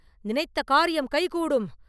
நினைத்த காரியம் கைகூடும்!